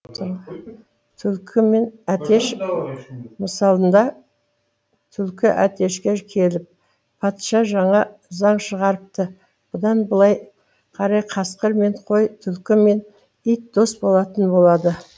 түлкі мен әтеш мысалында түлкі әтешке келіп патша жаңа заң шығарыпты бұдан былай қарай қасқыр мен қой түлкі мен ит дос болатын болады